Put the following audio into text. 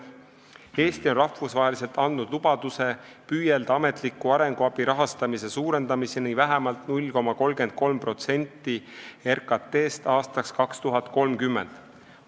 Eesti on rahvusvaheliselt andnud lubaduse püüelda ametliku arenguabi rahastamise suurendamise poole vähemalt 0,33%-ni RKT-st aastaks 2030.